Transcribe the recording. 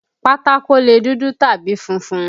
Pátákó lè dúdú tàbí funfun.